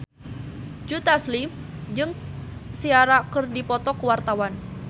Joe Taslim jeung Ciara keur dipoto ku wartawan